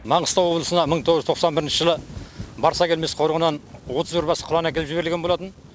маңғыстау облысына мың тоғыз жүз тоқсан бірінші барсакелмес қорығынан отыз бір бас құлан әкеліп жіберілген болатын